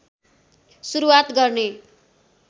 सुरूवात गर्ने